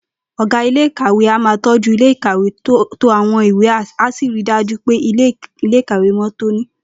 Ò̩gá iléèkàwé a máa tó̩jú ilé ìkàwé, to àwo̩n ìwé, á sì ri dájú pé ilé-ìkàwé mó̩ tóní